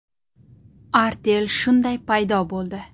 Artel shunday paydo bo‘ldi.